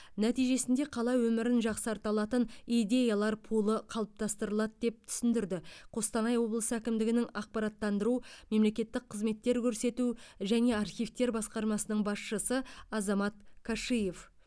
нәтижесінде қала өмірін жақсарта алатын идеялар пулы қалыптастырылады деп түсіндірді қостанай облысы әкімдігінің ақпараттандыру мемлекеттік қызметтер көрсету және архивтер басқармасының басшысы азамат кашиев